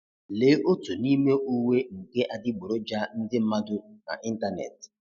Lee otu n'ime uwe nke adiboroja ndị mmadụ na ịntanetị.